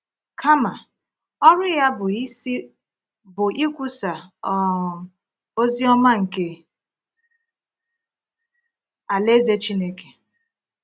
Kama, ọrụ Ya bụ isi bụ ikwusa um ozi ọma nke Alaeze Chineke.